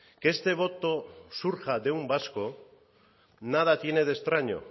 que este voto surja de un vasco nada tiene de extraño